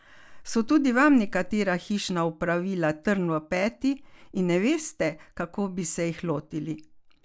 So tudi vam nekatera hišna opravila trn v peti in ne veste, kako bi se jih lotili?